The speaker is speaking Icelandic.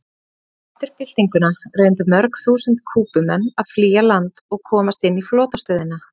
Eftir byltinguna reyndu mörg þúsund Kúbumenn að flýja land og komast inn á flotastöðina.